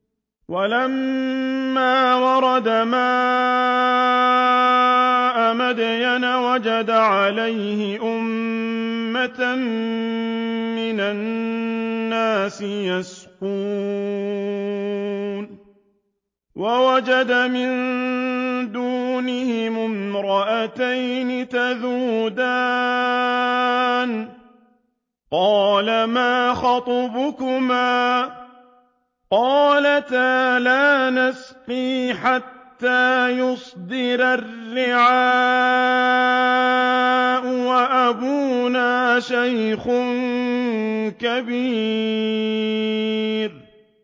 وَلَمَّا وَرَدَ مَاءَ مَدْيَنَ وَجَدَ عَلَيْهِ أُمَّةً مِّنَ النَّاسِ يَسْقُونَ وَوَجَدَ مِن دُونِهِمُ امْرَأَتَيْنِ تَذُودَانِ ۖ قَالَ مَا خَطْبُكُمَا ۖ قَالَتَا لَا نَسْقِي حَتَّىٰ يُصْدِرَ الرِّعَاءُ ۖ وَأَبُونَا شَيْخٌ كَبِيرٌ